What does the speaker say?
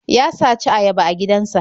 Ya saci ayaba a gidansa.